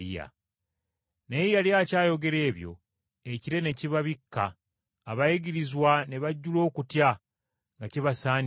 Naye yali akyayogera ebyo ekire ne kibabikka, abayigirizwa ne bajjula okutya nga kibasaanikidde.